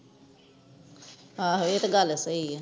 ਆਹੋ ਇਹ ਤੇ ਗਲ ਸਹੀ ਹੈ